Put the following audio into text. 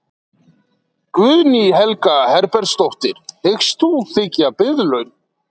Guðný Helga Herbertsdóttir: Hyggst þú þiggja biðlaun?